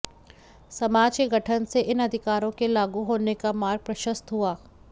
समाज के गठन से इन अधिकारों के लागू होने का मार्ग प्रशस्त हुआ